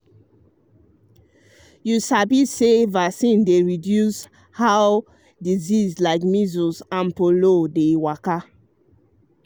um you sabi say vaccine dey reduce reduce how disease like measles and polio dey waka.